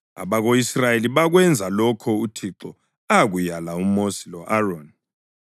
Abako-Israyeli bakwenza lokho uThixo akuyala uMosi lo-Aroni.